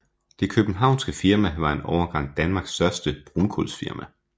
Det københavnske firma var en overgang Danmarks største brunkulsfirma